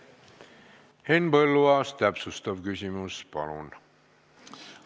Henn Põlluaas, täpsustav küsimus, palun!